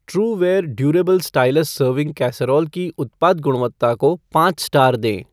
Trueware durable stylus serving casserole की उत्पाद गुणवत्ता को पाँच स्टार दें